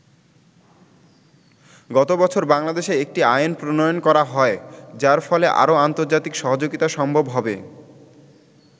গত বছর বাংলাদেশে একটি আইন প্রণয়ন করা হয় যার ফলে আরও আন্তর্জাতিক সহযোগিতা সম্ভব হবে।